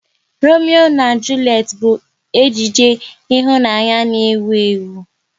Romeo na Julet bụ ejije ịhụnanya n'ewu ewu